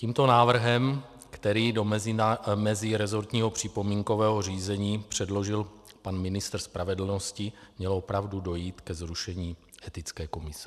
Tímto návrhem, který do mezirezortního připomínkového řízení předložil pan ministr spravedlnosti, mělo opravdu dojít ke zrušení etické komise.